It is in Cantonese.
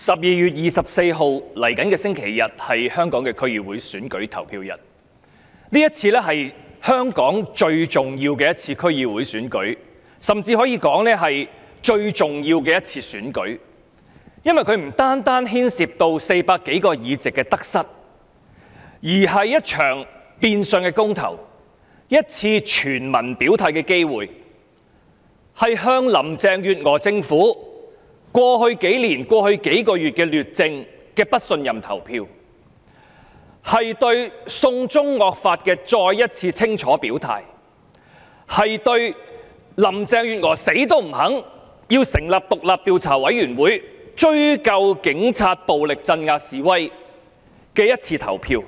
11月24日，本星期日是香港區議會選舉投票日，這是最重要的一次區議會選舉，甚至可以說是香港最重要的一次選舉，因為它不單牽涉各黨派在400多個區議會議席中的得失，而是一場變相公投，一次全民表態的機會，向林鄭月娥政府過去兩年、過去數月的劣政進行不信任投票，對"送中惡法"再一次清楚表態，對林鄭月娥堅決不肯成立獨立調查委員會追究警察暴力鎮壓示威的一次表決。